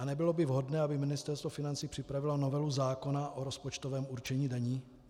A nebylo by vhodné, aby Ministerstvo financí připravilo novelu zákona o rozpočtovém určení daní?